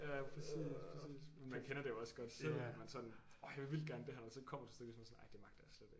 Ja ja præcis præcis men man kender det jo også godt selv at man sådan orh jeg vil vildt gerne det her men så kommer til stykket så man sådan nej det magter jeg slet ikke